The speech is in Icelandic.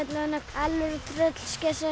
alvöru tröllskessa